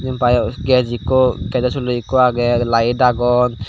bio gej ikko gejaw sulo ikko agey light agon.